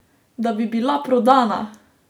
Da bi bila prodana!